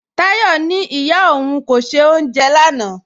Táyọ̀ ní ìyá ọ̀un kò ṣẹ̀ ọ́unjẹ̀ lánà